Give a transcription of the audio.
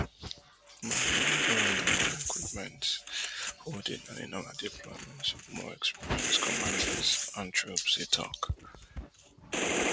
but we don grow in our equipment holding and in our deployments of more experienced commanders and troops e tok